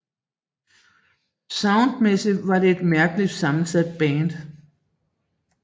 Soundmæssigt var det et mærkeligt sammensat band